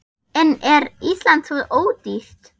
En er Ísland svo ódýrt?